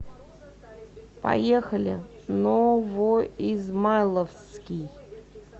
поехали новоизмайловский